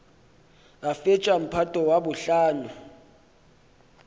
a fetša mphato wa bohlano